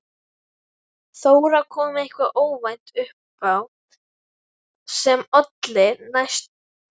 Þóra: Kom eitthvað óvænt upp á sem olli þessum sinnaskiptum?